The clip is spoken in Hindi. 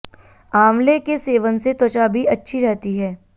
आंवले के सेवन से त्वचा भी अच्छी रहती है